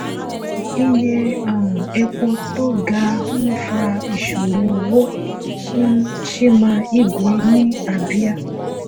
iye um epo tó ga ń fa ìṣòro owó fún chima igwe ní abia.